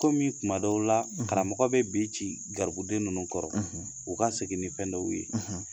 Komi kuma dɔw la , karamɔgɔ bɛ be ci garibuden nunnu kɔrɔ , u ka segin ni fɛn dɔw ye .